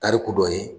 Tariku dɔ ye